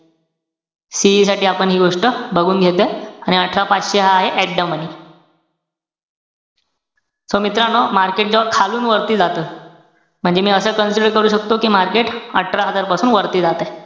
CE साठी आपण हि गोष्ट बघून घेतोय. आणि अठरा पाचशे हा आहे at the money. so मित्रांनो, market जेव्हा खालून वरती जातं. म्हणजे मी असं consider करू शकतो कि market अठरा हजार पासून वरती जातंय.